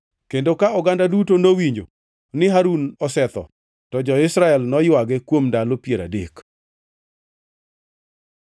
kendo ka oganda duto nowinjo ni Harun osetho, to jo-Israel noywage kuom ndalo piero adek.